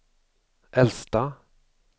äldsta